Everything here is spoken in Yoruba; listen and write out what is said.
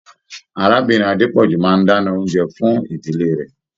Arábìnrin Adepoju máa n dana oúnjẹ fún ìdílé rẹ.